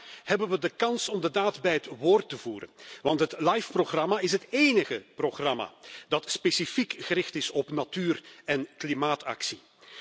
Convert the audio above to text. Vandaag hebben we de kans om de daad bij het woord te voegen, want het LIFE programma is het enige programma dat specifiek gericht is op natuur en klimaatactie.